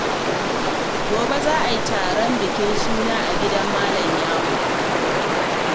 Gobe za a taron bikin suna a gidan Malam Ya'u.